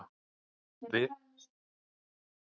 Veraldleg ytri sýn tók við af trúarlegri innri leit.